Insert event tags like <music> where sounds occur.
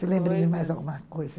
<unintelligible> de mais alguma coisa.